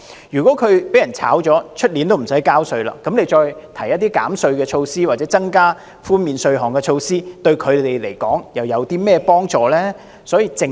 如果他們被裁員，明年已不用繳稅，那麼政府提出減稅措施或增加寬免稅項的措施，對他們來說，又有何幫助呢？